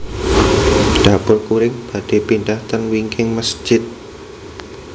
Dapur Kuring badhe pindah ten wingking mesjid